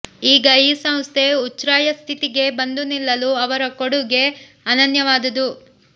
ಈಗ ಈ ಸಂಸ್ಥೆ ಉಚ್ರಾಯಸ್ಥಿತಿಗೆ ಬಂದು ನಿಲ್ಲಲು ಅವರು ಕೊಡುಗೆ ಅನನ್ಯವಾದುದು